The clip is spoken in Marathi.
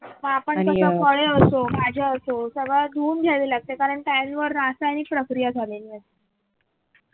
हा आपण कस फळे असो भाज्या असो सगळं धुवून घ्यावी लागते कारण त्यांवर रासायनिक प्रक्रिया झालेली असते